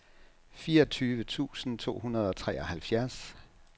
fireogtyve tusind to hundrede og treoghalvfjerds